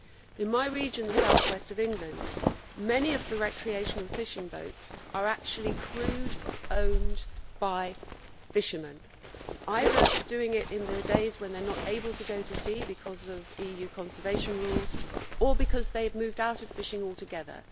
In my region, the south west of England, many of the recreational fishing boats are actually crewed and owned by fishermen, either doing it on the days when they are not able to go to sea because of EU conservation rules or because they have moved out of fishing altogether.